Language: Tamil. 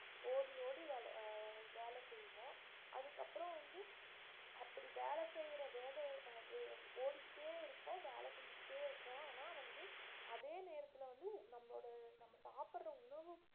ஓடி ஓடி வே~ வேலை செய்வோம் அதுக்கப்புறம் வந்து அப்படி வேலை செய்யற வேக வேக அது ஓடிக்கிட்டே இருக்கோம் வேலை செஞ்சுகிட்டே இருக்கும் ஆனா வந்து அதே நேரத்துல வந்து நம்மளோட நம்ம சாப்பிடற உணவு